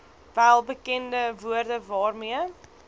welbekende woorde waarmee